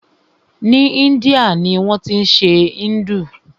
Ni Índia ni wọ́n tí ń ṣe Hindu.